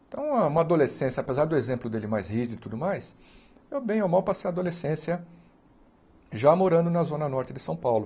Então, uma uma adolescência, apesar do exemplo dele mais rígido e tudo mais, eu bem ou mal passei a adolescência já morando na zona norte de São Paulo.